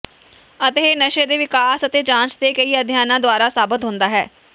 ਅਤੇ ਇਹ ਨਸ਼ੇ ਦੇ ਵਿਕਾਸ ਅਤੇ ਜਾਂਚ ਦੇ ਕਈ ਅਧਿਐਨਾਂ ਦੁਆਰਾ ਸਾਬਤ ਹੁੰਦਾ ਹੈ